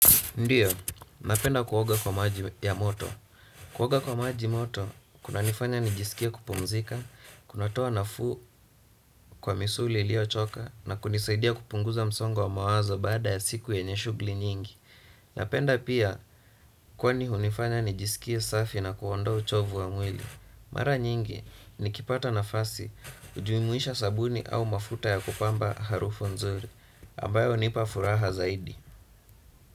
Ndiyo, napenda kuoga kwa maji ya moto. Kuoga kwa maji moto, kunanifanya nijisikia kupumzika, kunatoa nafuu kwa misuli iliyochoka, na kunisaidia kupunguza msongo wa mawazo baada ya siku yenye shughuli nyingi. Napenda pia, kwani hunifanya nijisikie safi na kuondoa uchovu wa mwili. Mara nyingi, nikipata nafasi, ujumuisha sabuni au mafuta ya kupamba harufu nzuri, ambayo hunipa furaha zaidi.